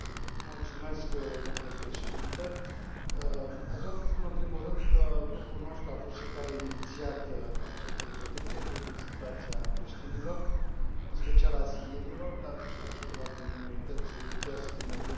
Domnule președinte, aș vrea să spun în primul rând că grupul nostru a fost cel care a inițiat această rezoluție privind situația creștinilor, în special a sirienilor, dar și a celorlalte minorități religioase din Orientul Apropiat.